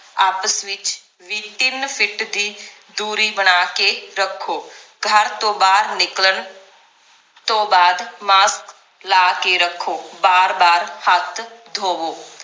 ਆਪਸ ਵਿਚ ਵੀ ਤਿੰਨ ਫਿੱਟ ਦੀ ਦੂਰੀ ਬਣਾ ਕੇ ਰੱਖੋ ਘਰ ਤੋਂ ਬਾਹਰ ਨਿਕਲਣ ਤੋਂ ਬਾਅਦ mask ਲਾ ਕੇ ਰੱਖੋ ਬਾਰ ਬਾਰ ਹੱਥ ਧੋਵੋ